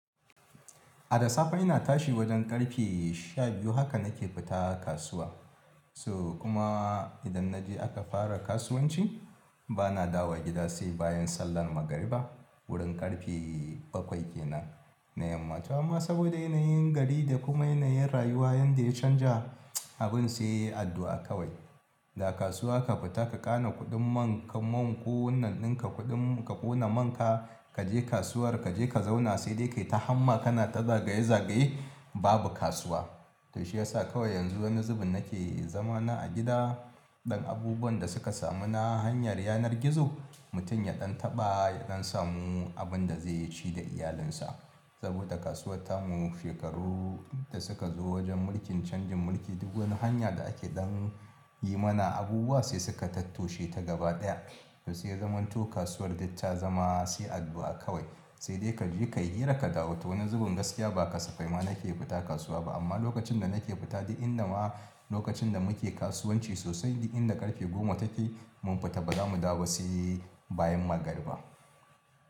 A da safe ina tashi wajen ƙarfe sha biyu haka nake fita kasuwa. So kuma idan na je aka fara kasuwanci bana dawowa gida sai bayan sallar magariba. Wurin ƙarfe bakwai ke nan na yamma. To amma saboda yanayin gari da kuma yanayin rayuwa yanda ya canja abun sai addu'a kawai. Da kasuwa ka fita ka ƙana kuɗin man kamun ko wannan ɗinka kuɗin ka ƙona man ka, ka je kasuwar ka je ka zauna sai dai kai ta hamma kana ta zagaye zagaye babu kasuwa. To shi ya sa kawai yanzu wani zubun nake zama na a gida. Dan abubuwan da suka samu na hanyar yanar gizo mutum ya ɗan taɓa, ya ɗan samu abun da zai ci da iyalinsa. Saboda kasuwar tamu shekaru da suka zo wajen mulkin canjin mulki duk wani hanya da ake dan yi mana abubuwa sai suka tattoshe ta gaba ɗaya. To sai ya zamanto kasuwar dut ta zama sai addu'a kawai. Sai dai ka je ka yi hira ka dawo. To wani zubun gaskiya ba kasafai ma nake fita kasuwa ba. Amma lokacin da nake fita duk inda ma lokacin da muke kasuwanci sosai duk inda ƙarfe goma take mun fita ba zamu dawo ba sai bayan magariba.